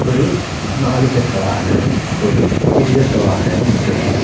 ഒരു നാല് ചക്രവാഹനവും ഒരു ഇരുചക്രവാഹനവും മുറ്റത്തുണ്ട്.